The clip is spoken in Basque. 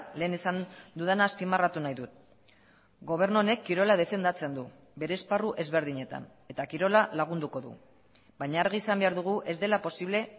lehen esan dudana azpimarratu nahi dut gobernu honek kirola defendatzen du bere esparru ezberdinetan eta kirola lagunduko du baina argi izan behar dugu ez dela posible